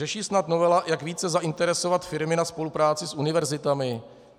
Řeší snad novela, jak více zainteresovat firmy na spolupráci s univerzitami?